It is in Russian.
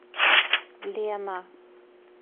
лена